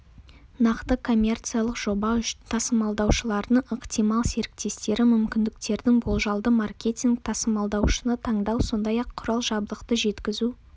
нақты коммерциялық жоба үшін тасымалдаушылардың ықтимал серіктестері мүмкіндіктерін болжалды маркетинг тасымалдаушыны таңдау сондай-ақ құрал-жабдықты жеткізу